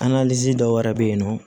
dɔw yɛrɛ bɛ yen nɔ